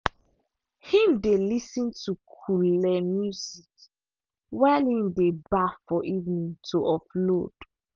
him dey lis ten to coole music while him dey baff for evening to offload.